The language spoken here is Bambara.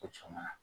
O caman na